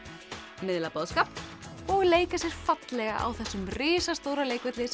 miðla boðskap og leika sér fallega á þessum risastóra leikvelli sem